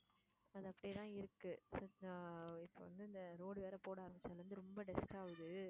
அது அப்படியே தான் இருக்கு இப்ப வந்து இந்த road வேற போட ஆரம்பிச்சதுல இருந்து ரொம்ப dust ஆகுது.